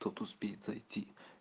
тот успеет зайти